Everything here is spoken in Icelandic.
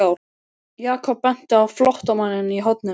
Jakob benti á flóttamanninn í horninu.